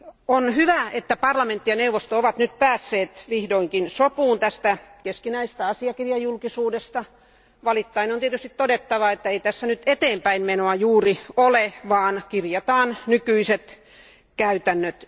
On hyvä, että parlamentti ja neuvosto ovat päässeet vihdoinkin sopuun tästä keskinäisestä asiakirjajulkisuudesta. Valittaen on tietysti todettava, että ei tässä eteenpäinmenoa juuri ole, vaan kirjataan nykyiset käytännöt.